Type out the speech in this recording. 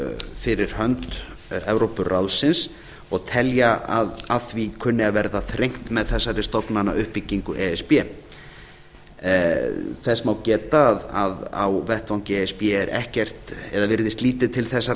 fyrir hönd evrópuráðsins og telja að að því kunni að verða þrengt með þessari stofnanauppbyggingu e s b þess má geta að á vettvangi e s b er ekkert eða virðist lítið til þessarar